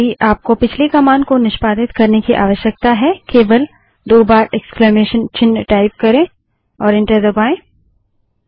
यदि आपको पिछली कमांड को निष्पादित करने की आवश्यकता है केवल दो बार इक्स्लामेसन चिन्ह टाइप करें और एंटर दबायें